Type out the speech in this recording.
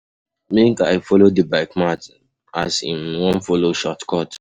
Make I folo di bike man as im wan folo shortcut.